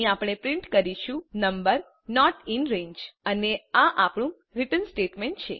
અહીં આપણે પ્રિન્ટ કરીશું નંબર નોટ ઇન રંગે અને આ આપણું રીટર્ન સ્ટેટમેન્ટ છે